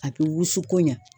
A bɛ wusu koɲa